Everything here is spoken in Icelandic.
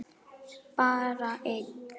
Bara einn.